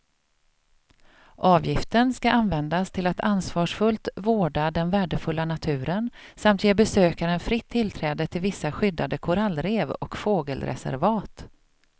Avgiften ska användas till att ansvarsfullt vårda den värdefulla naturen samt ge besökaren fritt tillträde till vissa skyddade korallrev och fågelreservat.